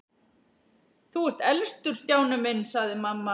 Þú ert elstur Stjáni minn sagði mamma.